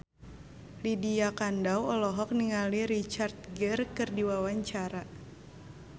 Lydia Kandou olohok ningali Richard Gere keur diwawancara